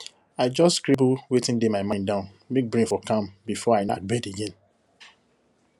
i just scribble wetin dey my mind down make brain for calm before i knack bed again